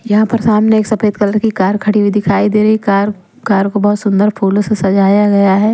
यहां पर सामने एक सफेद कलर की कार खड़ी हुई दिखाई दे रही है कार कार को बहुत सुंदर फूलों से सजाया गया है ।